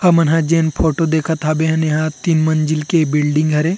हमन ह जेन फोटो देखत हाबे हे तीन मंज़िल के बिल्डिंग हरे --